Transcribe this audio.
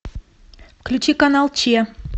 включи канал че